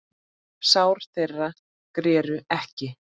Sár þeirra greru ekki.